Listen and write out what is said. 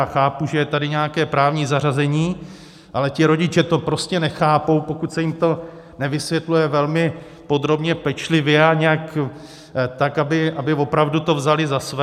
A chápu, že je tady nějaké právní zařazení, ale ti rodiče to prostě nechápou, pokud se jim to nevysvětluje velmi podrobně, pečlivě a nějak tak, aby opravdu to vzali za své.